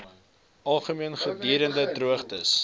algemeen gedurende droogtes